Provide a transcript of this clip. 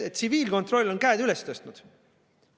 Tsiviilkontroll on käed üles tõstnud.